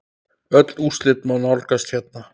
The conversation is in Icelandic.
Öll úrslit má nálgast hérna.